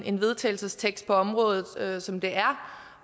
en vedtagelsestekst på området som det er